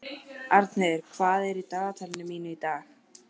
Arnheiður, hvað er í dagatalinu mínu í dag?